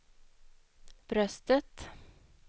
bröstet